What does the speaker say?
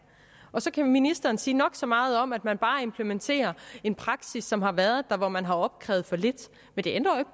så kan ministeren sige nok så meget om at man bare implementerer en praksis som har været der hvor man har opkrævet for lidt men det ændrer